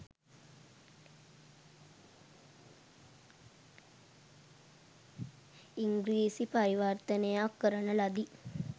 ඉංගී්‍රසි පරිවර්තනයක් කරන ලදී.